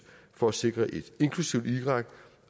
for at sikre et inklusivt irak